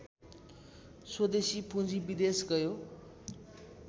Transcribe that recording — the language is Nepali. स्वदेशी पुँजी विदेश गयो